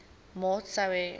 maat sou hê